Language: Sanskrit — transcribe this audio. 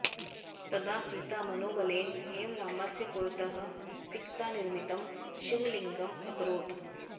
तदा सीता मनोबलेन एव रामस्य पुरतः सिकतानिर्मितं शिवलिङ्गम् अकरोत्